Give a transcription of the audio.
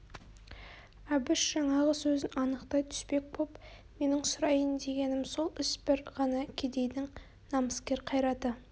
әбіш жаңағы сөзін анықтай түспек боп менің сұрайын дегенім сол іс бір ғана кедейдің намыскер қайраты